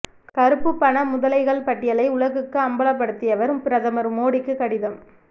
கருப்பு பண முதலைகள் பட்டியலை உலகுக்கு அம்பலப்படுத்தியவர் பிரதமர் மோடிக்கு கடிதம்